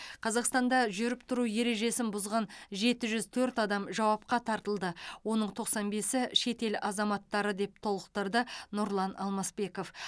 қазақстанда жүріп тұру ережесін бұзған жеті жүз төрт адам жауапқа тартылды оның тоқсан бесі шетел азаматтары деп толықтырды нұрлан алмасбеков